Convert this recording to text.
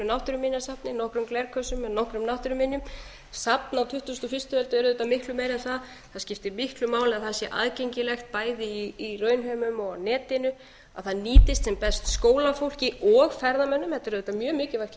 náttúruminjasafni nokkrum glerkössum með nokkrum náttúruminjum safn á tuttugustu og fyrstu öld er auðvitað miklu meira en það það skiptir miklu máli að það sé aðgengilegt bæði í raunheimum og netinu að það nýtist sem best skólafólki og ferðamönnum þetta er auðvitað mjög mikilvægt